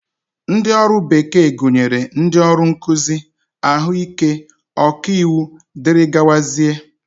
Ndị ọrụ bekee gụnyere ndị ọrụ nkụzi, ahụike, ọkaiwu dgz